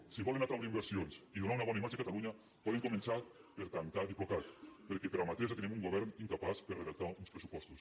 si volen atraure inversions i donar una bona imatge a catalunya poden començar per tancar diplocat perquè per amateurstenim un govern incapaç de redactar uns pressupostos